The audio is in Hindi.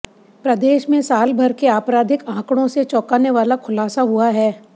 प्रदेश में सालभर के आपराधिक आंकड़ों से चौंकाने वाला खुलासा हुआ है